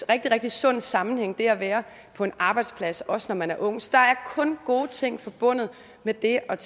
rigtig rigtig sund sammenhæng ved at være på en arbejdsplads også når man er ung så der er kun gode ting forbundet med det at